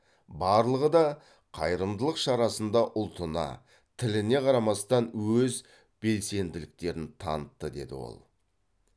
барлығы да қайырымдылық шарасында ұлтына тіліне қарамастан өз білсенділіктерін танытты деді ол